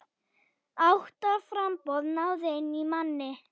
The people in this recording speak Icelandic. Átta framboð náðu inn manni.